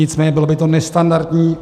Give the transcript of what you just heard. Nicméně bylo by to nestandardní.